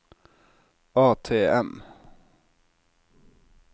ATM